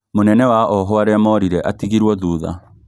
Mũnene wa ohwo arĩa morire atigirwo thutha